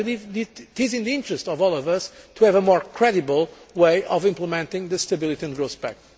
I believe it is in the interests of all of us to have a more credible way of implementing the Stability and Growth Pact.